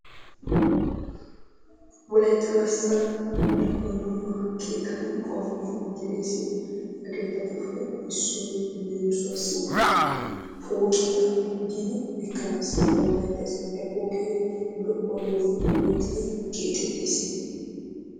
Wolaytta garssan dumma dumma keettattu qommoy de'ees. He keettatuppe issoy leemissuwaassi pooqiya giidi ekkanassi danddayettes. He pooqee lo"onne puulatidi keexettees.